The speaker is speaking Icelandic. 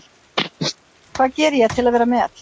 Hvað geri ég til að vera með?